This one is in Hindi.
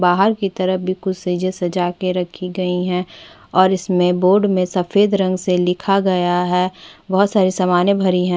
बाहर की तरफ भी कुछ सेजे सजा के रखी गई है और इसमें बोर्ड में सफेद रंग से लिखा गया है बहोत सारे सामाने भरी है।